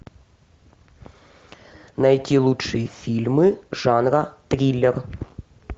найти лучшие фильмы жанра триллер